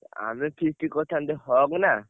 ଆମେ feast କରିଥାନ୍ତେ ହକ୍ନା।